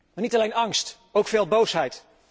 Maar niet alleen angst, ook veel boosheid.